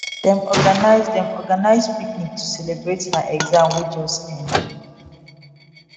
dem organize dem organize picnic to celebrate der exam wey just end